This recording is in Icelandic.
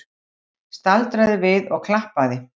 Staldraði við og klappaði!